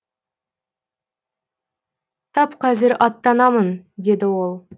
тап қазір аттанамын деді ол